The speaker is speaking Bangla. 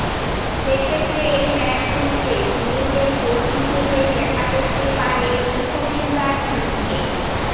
সেক্ষেত্রে এই ম্যাচগুলিতে সুনীলদের কোচ হিসাবে দেখা যাতে পারে সুখবিন্দার সিংকে